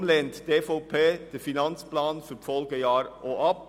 Deshalb lehnt die EVP den Finanzplan für die Folgejahre ab.